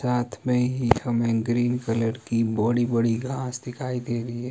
रात में ही हमें ग्रीन कलर की बडी बड़ी घास दिखाई दे रही है।